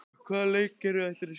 Hvaða leikkerfi ætlarðu að spila?